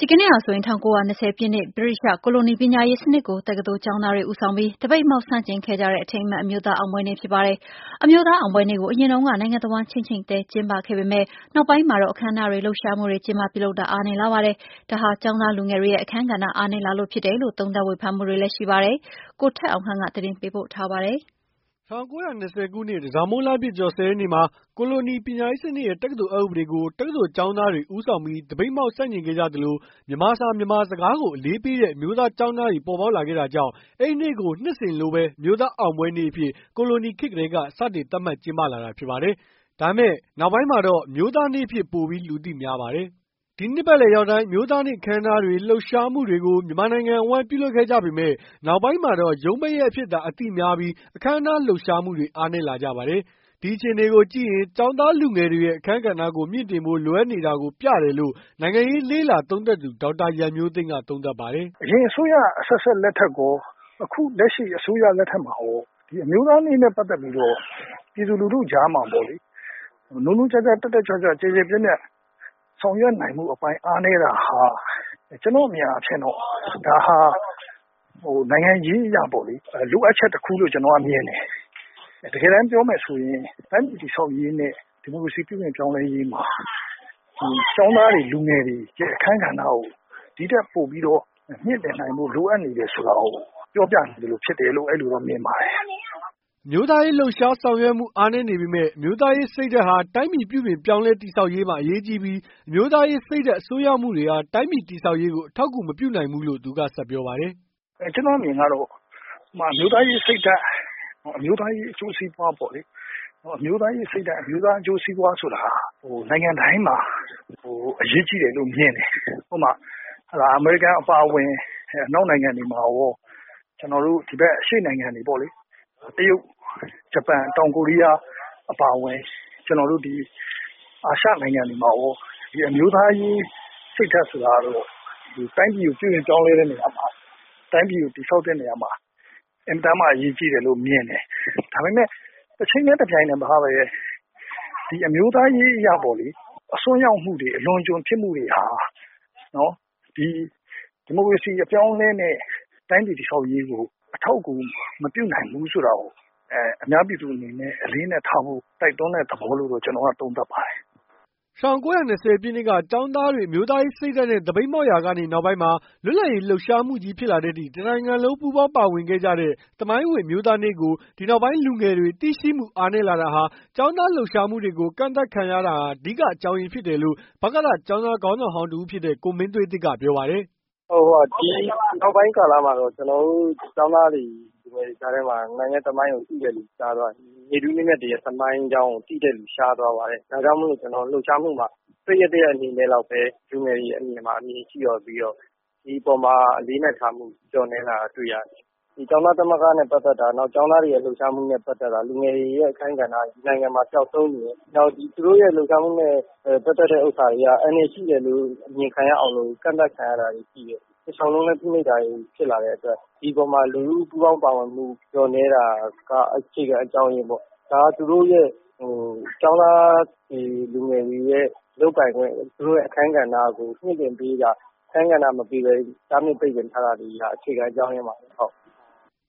ဒီကနေ့ဟာဆိုရင် ၁၉၂၀ ပြည့်နှစ် ဗြိတိသျှကိုလိုနီပညာရေးစနစ်ကို တက္ကသိုလ်ကျောင်းသားတွေ ဦးဆောင်ပြီး သပိတ်မှောက် ဆန့်ကျင်ခဲ့ကြတဲ့အထိမ်းအမှတ် အမျိုးသားအောင်ပွဲနေ့ ဖြစ်ပါတယ်။ အမျိုးသားအောင်ပွဲနေ့ကို အရင်တုန်းက နိုင်ငံအဝှမ်း ခြိမ့်ခြိမ့်သဲ ကျင်းပခဲ့ပေမယ့် နောက်ပိုင်းမှာတော့ အခမ်းအနားတွေ လှုပ်ရှားမှုတွေ ကျင်းပပြုလုပ်တာ အားနည်းလာပါတယ်။ ဒါဟာ ကျောင်းသားလူငယ်တွေရဲ့ အခန်းကဏ္ဍ အားနည်းလာလို့ဖြစ်တယ်လို့ သုံးသပ်ဝေဖန်မှုတွေရှိပါတယ်။ ဗွီအိုအေ သတင်းထောက် ကိုထက်အောင်ခန့် သတင်းပေးပို့ထားပါတယ်။ ၁၉၂၀ ခုနှစ် တန်ဆောင်မုန်းလပြည့်ကျော် ၁၀ရက်နေ့မှာ ကိုလိုနီပညာရေးစနစ်ရဲ့ တက္ကသိုလ်အက်ဥပဒေကို တက္ကသိုလ်ကျောင်းသားတွေ ဦးဆောင်ပြီး သပိတ်မှောက်ဆန့်ကျင်ခဲ့ကြသလို၊ မြန်မာစာ မြန်မာစကားကို အလေးပေးတဲ့ အမျိုးသားကျောင်းသားတွေ ပေါ်ပေါက်လာခဲ့တာကြောင့် အဲဒီနေ့ကို နှစ်စဉ်လိုပဲ အမျိုးသားအောင်ပွဲနေ့အဖြစ် ကိုလိုနီခေတ်ကတည်းက စတင်သတ်မှတ်ကျင်းပလာတာဖြစ်ပါတယ်။ ဒါပေမယ့် နောက်ပိုင်းမှာတော့ အမျိုးသားနေ့အဖြစ် ပိုပြီး လူသိများပါတယ်။ ဒီနှစ်ပတ်လည်ရောက်တိုင်း အမျိုးသားနေ့အခမ်းအနားတွေ လှုပ်ရှားမှုတွေကို မြန်မာနိုင်ငံ အဝှမ်း ပြုလုပ်ခဲ့ကြပေ မယ့်၊ နောက်ပိုင်းမှာတော့ ရုံးပိတ်ရက်အဖြစ်သာ အသိများပြီး အခမ်းအနားလှုပ်ရှားမှုတွေ အားနည်းလာပါတယ်။ ဒီအခြေအနေကိုကြည့်ရင် ကျောင်းသား လူငယ်တွေရဲ့ အခန်းကဏ္ဍကို မြင့်တင်ဖို့ လိုအပ်နေတာကို ပြတယ်လို့ နိုင်ငံရေးလေ့လာသုံးသပ်သူ ဒေါက်တာရန်မျိုးသိမ်းကသုံးသပ်ပါတယ်။ “အရင်အစိုးရ အဆက်ဆက် လက်ထက်ရော အခုလက်ရှိအစိုးရလက်ထက်မှာရော ဒီအမျိုးသားနေ့နဲ့ ပတ်သက်ပြီးတော့ ပြည်သူလူထုကြားမှာပေါ့လေ နိုးနိုးကြားကြားတက်တက်ကြွကြွ ဆောင်ရွက်နိုင်ဖို့အတွက် အပိုင်းအားနည်းတာဟာ ကျနော့်အမြင်အားဖြင့်တော့ ဒါဟာ နိုင်ငံရေးအရပေါ့လေ လိုအပ်ချက်တခုလို့ ကျနော်ကတော့ မြင်ပါတယ်။ တကယ်တမ်းပြောမယ်ဆိုရင် တိုင်းပြည်တည်ဆောက်ရေးနဲ့ ဒီမိုကရေစီပြုပြင်ပြောင်းလဲရေးမှာ ကျောင်းသားတွေ လူငယ်တွေရဲ့ အခန်းကဏ္ဍကို ဒီထက်ပိုပြီးတော့ မြင့်တင်နိုင်ဖို့ လိုအပ်တယ်ဆိုတာ ပြောပြနေသလိုဖြစ်တယ်လို့ မြင်ပါတယ်။” အမျိုးသားရေးလှုပ်ရှားဆောင်ရွက်မှုအားနည်းနေပေမယ့် အမျိုးသားရေးစိတ်ဓာတ်ဟာ တိုင်းပြည်ပြုပြင်ပြောင်းလဲတည်ဆောက်ရေးမှာ အရေးကြီးပြီး အမျိုးသားရေးစိတ်ဓာတ် အစွန်းရောက်မှုတွေဟာတိုင်းပြည်တည်ဆောက်ရေးကို အထောက်အကူမပြုနိုင်ဘူးလို့သူက ဆက်ပြောပါတယ်။ “ကျနော့်အမြင်ကတော့ ဥပမာ အမျိုးသားရေးစိတ်ဓါတ်၊ အမျိုးသားရေးအကျိုးစီးပွားပေါ့လေ၊ ဒါက နိုင်ငံတိုင်းမှာ အရေးကြီးတယ်လို့ မြင်တယ်။ အမေရိကန်အပါအဝင် အနောက်နိုင်ငံတွေမှာရော ကျနော်တို့ဒီဘက် အရှေ့နိုင်ငံတွေမှာပေါ့လေ၊ တရုတ်၊ ဂျပန်၊ တောင်ကိုရီးယား အပါအဝင် ကျနော်တို့ အာရှနိုင်ငံတွေမှာ အမျိုးသားရေးစိတ်ဓါတ်ဆိုတာကတော့ တိုင်းပြည်ကို ပြုပြင်ပြောင်းလဲတဲ့ နေရာမှာ ၊ တိုင်းပြည်ကို တည်ဆောက်တဲ့နေရာမှာ အင်မတန်မှ အရေးကြီးတယ်လို့ မြင်တယ်။ ဒါပေမယ့် တချိန်တည်း တပြိုင်တည်းမှာပဲ ၊ ဒီအမျိုးသားရေးအရ အစွန်းရောက်မှုတွေ အလွန်အကျွံဖြစ်မှုတွေဟာ ဒီမိုကရေစီပြောင်းလဲမယ့် တိုင်းပြည်တည်ဆောက်ရေးကို အထောက်အကူ မပြုနိုင်ဘူးဆိုတာကို အများပြည်သူအနေနဲ့ အလေးအနက်ထားဖို့ တိုက်တွန်းတဲ့သဘောလို့ ကျနော်ကတော့ သုံးသပ်ပါတယ်။" ၁၉၂၀ ပြည့်နှစ်က ကျောင်းသားတွေ အမျိုးသားရေးစိတ်ဓာတ်နဲ့သပိတ်မှောက်ကနေ နောက်ပိုင်းမှာ လွတ်လပ်ရေးလှုပ်ရှားမှုကြီးဖြစ်လာတဲ့အထိ တနိုင်ငံလုံးပူးပေါင်းပါဝင်ခဲ့ကြတဲ့ သမိုင်းဝင်အမျိုးသားနေ့ကို ဒီနောက်ပိုင်းလူငယ်တွေ သိရှိမှုအားနည်းလာတာဟာ ကျောင်းသားလှုပ်ရှားမှုတွေကို ကန့်သတ်ခံရတာ အဓိကအကြောင်းအရင်းဖြစ်တယ်လို့ ဗကသ ကျောင်းသားခေါင်းဆောင်ဟောင်းတစ်ဦးဖြစ်တဲ့ ကိုမင်းသွေးသစ်ကပြောပါတယ်။ “ ဒီနောက်ပိုင်းကာလမှာကတော့ ကျနော်တို့ ကျောင်းသားတွေ ကြားထဲမှာ နေ့ထူးနေ့မြတ်တွေရဲ့ သမိုင်းကျောင်းကို သိတဲ့လူ ရှားသွားပါတယ်။ ဒါကြောင့်မို့လို့ လှုပ်ရှားမှုက ပိတ်ရက်၁ ရက်အနေနဲ့လောက်ပဲ လူငယ်တွေအမြင်မှာ ရှိပြီးတော့ ဒီအပေါ်မှာ အလေးအနက်ထားမှု လျှော့နည်းလာတာတွေ့ရတယ်။ ကျောင်းသားသမဂ္ဂနဲ့ ပတ်သက်တာ နောက်ကျောင်းသားတွေလှုပ်ရှားမှုနဲ့ ပတ်သက်တာ လူငယ်တွေရဲ့ အခန်းကဏ္ဍတွေက ဒီနိုင်ငံမှာ ပျောက်ဆုံးနေတယ်။ နောက်သူတို့လှုပ်ရှားမှုနဲ့ ပတ်သက်တဲ့ ဟာတွေက အန္တရာယ်ရှိတယ်လို့ အမြင်ခံရအောင်လို့ ကန်သတ်ခံရတာတွေရှိတယ်။ တလျောက်လုံးလည်း ဖိနှိပ်တာတွေဖြစ်လာတဲ့အတွက် ဒီအပေါ်မှာ လူထုပူးပေါင်းပါဝင်မှု လျှော့နည်းတာက အခြေခံအကြောင်းအရင်းပေါ့ ဒါက ကျောင်းသားတွေ လူငယ်တွေရဲ့ လုပ်ပိုင်ခွင့် အခန်းကဏ္ဍကို မမြင့်တင်ပေးတာ ၊ အခန်းကဏ္ဍမပေးပဲ တားမြစ်ပိတ်ပင်တာ တွေက အခြေခံအကြောင်းအရင်းပါပဲ။”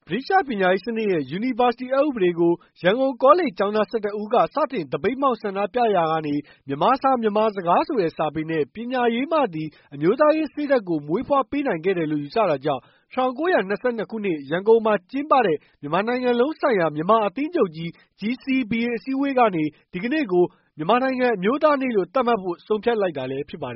ဗြိတိသျှပညာရေးစနစ်ရဲ့ ယူနီဗာစတီအက်ဥပဒေကို ရန်ကုန်ကောလိပ်ကျောင်းသား ၁၁ ဦးက စတင်သပိတ်မှောက်ဆန္ဒပြခဲ့ကြရာကနေ မြန်မာစာ မြန်မာစကားဆိုတဲ့ စာပေနဲ့ ပညာရေးမှသည် အမျိုးသားရေးစိတ်ဓါတ်ကို မွေးဖွားပေးနိုင်ခဲ့တယ်လို့ ယူဆတာကြောင့်၊ ၁၉၂၂ ခုနှစ် ရန်ကုန်မှာကျင်းပတဲ့ မြန်မာနိုင်ငံလုံးဆိုင်ရာမြန်မာအသင်းချုပ်ကြီး အစည်းအဝေးကနေ ဒီနေ့ကို မြန်မာနိုင်ငံအမျိုးသားနေ့လို့ သတ်မှတ်ဖို့ ဆုံးဖြတ်လိုက်တာလည်း ဖြစ်ပါတယ်